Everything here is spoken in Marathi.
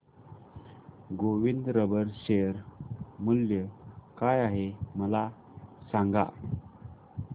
गोविंद रबर शेअर मूल्य काय आहे मला सांगा